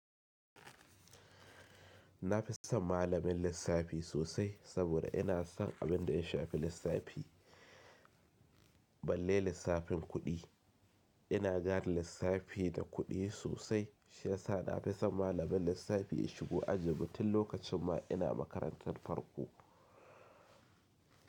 Na fi son malamin lissafi sosai saboda ina son abin da ya shafi lissafi, balle lissafin kuɗi. Ina gane lissafi da kuɗi sosai shiyasa na fi son malamin lissafi ya shigo ajinmu tum lokacin ma ina makarantar farko.